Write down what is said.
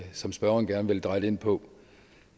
som spørgeren gerne vil dreje det ind på